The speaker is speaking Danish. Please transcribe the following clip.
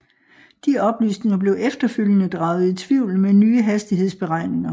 De oplysninger blev efterfølgende draget i tvivl med nye hastighedsberegninger